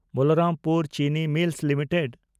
Balrampur Chini mills limited